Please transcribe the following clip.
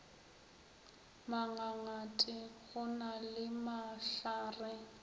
mangangate go na le mahlare